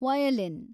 violin